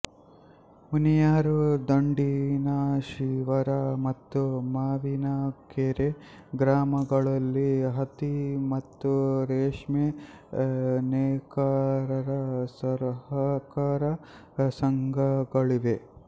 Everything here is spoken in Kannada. ಮುನಿಯೂರು ದಂಡಿನಶಿವರ ಮತ್ತು ಮಾವಿನಕೆರೆ ಗ್ರಾಮಗಳಲ್ಲಿ ಹತ್ತಿ ಮತ್ತು ರೇಷ್ಮೆ ನೇಕಾರರ ಸಹಕಾರ ಸಂಘಗಳಿವೆ